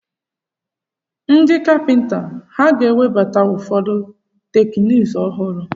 Ndị kapịnta ha ga-ewebata ụfọdụ teknụzụ ọhụrụ?